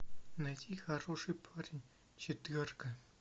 найти хороший парень четверка